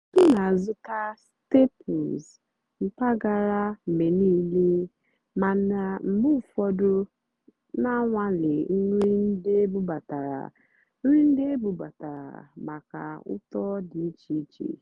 m nà-àzụ́tá stàplés mpàgàrà mgbe níìlé màná mgbe ụ́fọ̀dụ́ nà-ànwàlé nrì ndí ébúbátàrá nrì ndí ébúbátàrá màkà ụ́tọ́ dì íché íché.